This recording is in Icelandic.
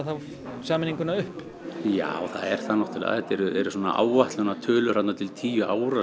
sameininguna upp já það eru áætlunartölur þarna til tíu ára